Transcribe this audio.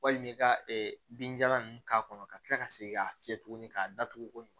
Walima i ka binjalan ninnu k'a kɔnɔ ka kila ka segin k'a fiyɛ tuguni k'a datugu ko ɲuman